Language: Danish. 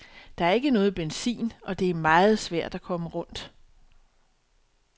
Der er ikke noget benzin, og det er meget svært at komme rundt.